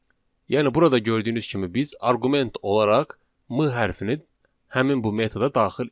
Yəni burada gördüyünüz kimi biz arqument olaraq M hərfini həmin bu metoda daxil etdik.